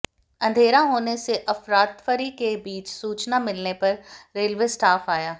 अंधेरा होने से अफरातफरी के बीच सूचना मिलने पर रेलवे स्टाफ आया